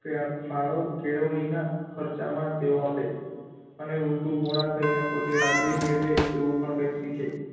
ત્યાં ફાળો કેળવણીનાં ખર્ચમાં તેઓ આપે, અને ઊલટું મોડા થઈને પોતે રાજાઈ મેળવે એવું પણ કાઇંક શીખે.